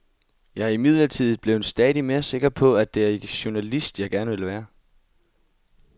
Jeg er imidlertid blevet stadig mere sikker på, at det er journalist, jeg gerne vil være.